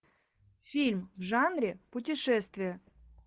фильм в жанре путешествия